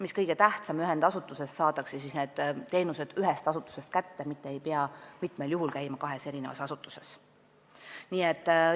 Mis kõige tähtsam, need teenused saadakse kätte ühest asutusest, ei pea enam käima kahes asutuses, nagu praegu mitmel juhul vaja on.